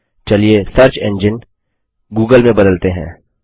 चलिए search engine Google में बदलते हैं